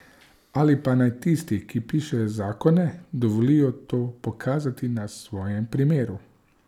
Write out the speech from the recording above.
Ali pa naj tisti, ki pišejo zakone, dovolijo to pokazati na svojem primeru.